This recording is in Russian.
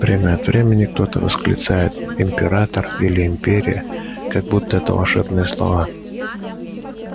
время от времени кто-то восклицает император или империя как будто это волшебные слова